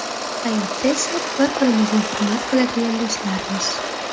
Hayotda esa bir-birimizni hurmat qiladigan do‘stlarmiz.